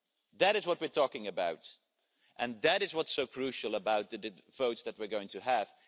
That is what we are talking about, and that is what is so crucial about the votes we are going to have.